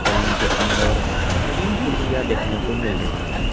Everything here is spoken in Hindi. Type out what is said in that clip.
सैलून के अंदर तीन कुर्सियां देखने को मिल रही हैं।